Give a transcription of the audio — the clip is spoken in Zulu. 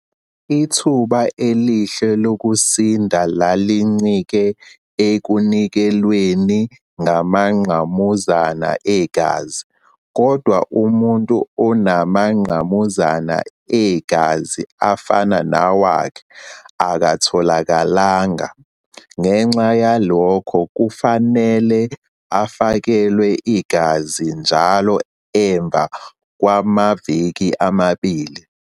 Ithuba elihle lokusinda lalincike ekunikelelweni ngamangqamuzana egazi, kodwa umuntu onamangqa muzana egazi afana nawakhe akatholakalanga. Ngenxa yalokho, kwafanele afakelwe igazi njalo emva kwamaviki amabili.